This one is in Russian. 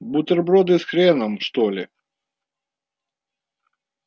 бутерброды с хреном что ли